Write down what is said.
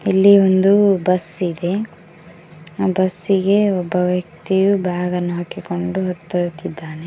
ಇಲ್ಲಿ ಒಂದು ಬಸ್ ಇದೆ ಆ ಬಸ್ಸಿಗೆ ಒಬ್ಬ ವ್ಯಕ್ತಿಯು ಬ್ಯಾಗ್ ಅನ್ನು ಹಾಕಿಕೊಂಡು ಹತ್ತುತಿದ್ದಾನೆ.